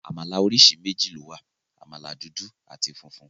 Àmàlà oríṣi méjì ló wà, àmàlà dúdú àti funfun.